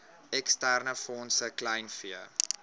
eksterne fondse kleinvee